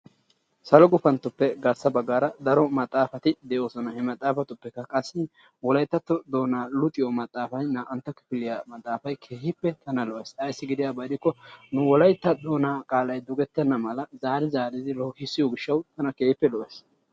Salo gufanttoppe garssa baggaara daro maxaafati de"oosona. He maxaafatuppekka qassi wolayttatto doonaa luxiyo maxaafayi naa"antta kifiliya maxaafay keehippe tana lo"es ayssi giyaba gidikko nu wolaytta doonaa qaalayi dogettenna mala zaari zaaridi loohissiyo gishshawu tana keehippe lo"es.